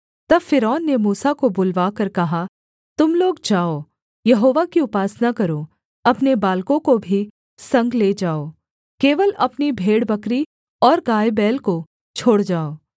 तब फ़िरौन ने मूसा को बुलवाकर कहा तुम लोग जाओ यहोवा की उपासना करो अपने बालकों को भी संग ले जाओ केवल अपनी भेड़बकरी और गायबैल को छोड़ जाओ